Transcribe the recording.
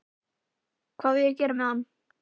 Hvað á ég að gera með hann?